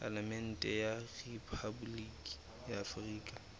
palamente ya rephaboliki ya afrika